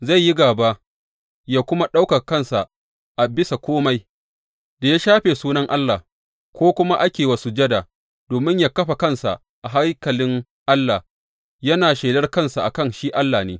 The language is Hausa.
Zai yi gāba yă kuma ɗaukaka kansa a bisa kome da ya shafe sunan Allah, ko kuma ake yi wa sujada, domin yă kafa kansa a haikalin Allah, yana shelar kansa a kan shi Allah ne.